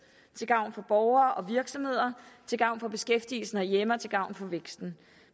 til gavn for borgere og virksomheder til gavn for beskæftigelsen herhjemme og til gavn for væksten